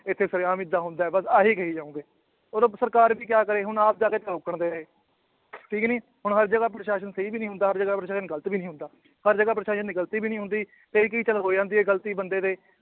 ਇੱਥੇ ਸਰੇਆਮ ਏਦਾਂ ਹੁੰਦਾ ਹੈ ਬਸ ਆਹੀ ਕਹੀ ਜਾਓਗੇ, ਉਦੋਂ ਸਰਕਾਰ ਵੀ ਕਿਆ ਕਰੇ ਹੁਣ ਆਪ ਬੇਚਾਰੇ ਨੇ ਠੀਕ ਨੀ ਹੁਣ ਹਰ ਜਗ੍ਹਾ ਪ੍ਰਸਾਸ਼ਨ ਸਹੀ ਵੀ ਨੀ ਹੁੰਦਾ ਪ੍ਰਸਾਸ਼ਨ ਗ਼ਲਤ ਵੀ ਨੀ ਹੁੰਦਾ ਹਰ ਜਗ੍ਹਾ ਪ੍ਰਸਾਸ਼ਨ ਦੀ ਗ਼ਲਤੀ ਵੀ ਨੀ ਹੁੰਦੀ, ਕਈ ਕਈ ਕੁ ਤੋਂ ਹੋ ਜਾਂਦੀ ਹੈ ਗ਼ਲਤੀ ਬੰਦੇ ਦੇ